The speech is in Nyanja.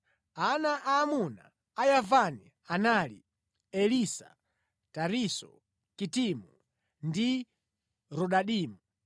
Ana aamuna a Yavani anali: Elisa, Tarisisi, Kitimu ndi Rodanimu.